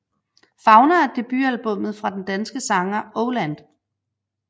Fauna er debutalbummet fra den danske sanger Oh Land